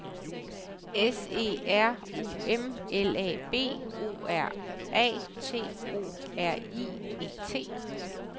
S E R U M L A B O R A T O R I E T